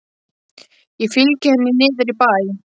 Ég fylgi henni niður í bæ.